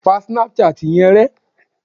Pa Snapchat yẹn rẹ!